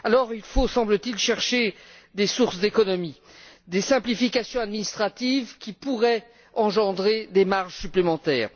Il faut, semble t il, chercher des sources d'économies et des simplifications administratives qui pourraient engendrer des marges supplémentaires.